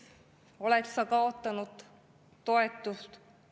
… oled sa kaotanud toetust.